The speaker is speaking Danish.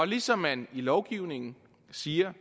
ligesom man i lovgivningen siger